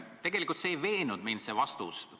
Tegelikult ei veennud see vastus mind.